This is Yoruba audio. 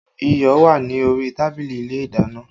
Iyọ̀ wà ní orí tábìlì ilé ìdáná